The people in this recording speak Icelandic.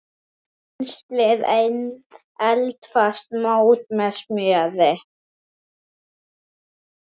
Penslið eldfast mót með smjöri.